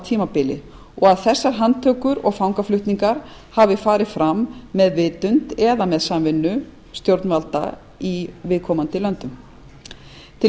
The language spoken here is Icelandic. tímabili og að þessar handtökur og fangaflutningar hafi farið fram með vitund eða samvinnu stjórnvalda í viðkomandi löndum til